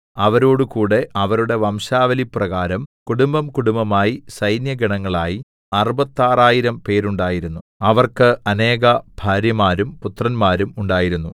അവരോടുകൂടെ അവരുടെ വംശാവലിപ്രകാരം കുടുംബംകുടുംബമായി സൈന്യഗണങ്ങളായി അറുപത്താറായിരം പേരുണ്ടായിരുന്നു അവർക്ക് അനേകഭാര്യമാരും പുത്രന്മാരും ഉണ്ടായിരുന്നു